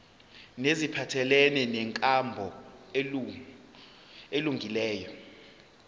neziphathelene nenkambo elungileyo